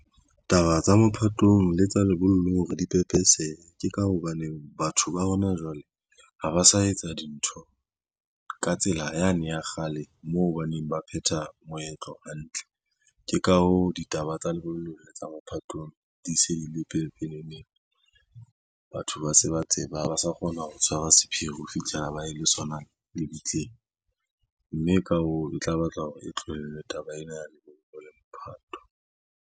Taba tsa mophatong le tsa lebollong hore di pepesehe, ke ka hobaneng batho ba hona jwale ha ba sa etsa dintho ka tsela yane ya kgale, moo baneng ba phetha moetlo hantle. Ke ka hoo, ditaba tsa lebollong le tsa mophatong di se di le pepeneneng, batho ba se ba tseba ha ba sa kgona ho tshwara sephiri ho fihlela ba ye le sona lebitleng, mme ka hoo, e tla batla hore e tlohellwe taba ena ya lebollo le mophatho.